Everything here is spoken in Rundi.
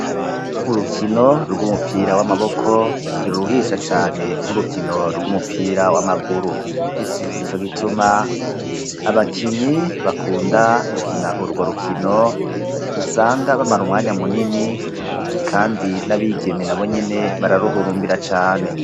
Urukino rw'umupira w'amaboko ntiruruhisha cane nk'urukino rw'umupira w'amaguru. Nico gituma abakinyi bakunda gukina urwo rukino, usanga bamara umwanya munini, kandi n'abigeme nabo nyene bararuhurumbira cane.